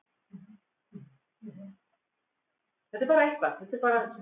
Hann segir að nú þurfi allir að horfa fram veginn.